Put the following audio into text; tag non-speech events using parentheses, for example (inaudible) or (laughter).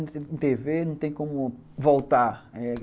(unintelligible) Tê vê não tem como voltar.